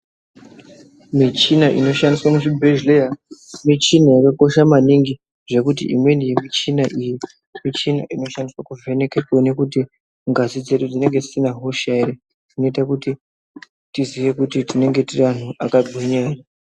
Michina inoshandiswe muzvibhedhleya michina yakakosha maningi zvekuti imweni yemichina iyi michina inoshandiswa kuvheneke kuone kuti ngazi dzedu dzinenge dzisina hosha here, Inoite kuti tiziye kuti tinenge tiri anhu akagwinya here.